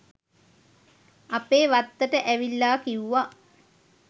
අපේ වත්තට ඇවිල්ලා කිව්වා